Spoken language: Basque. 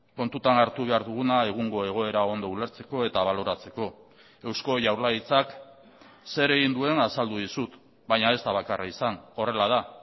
kontutan hartu behar duguna egungo egoera ondo ulertzeko eta baloratzeko eusko jaurlaritzak zer egin duen azaldu dizut baina ez da bakarra izan horrela da